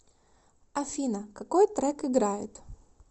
афина какой трек играет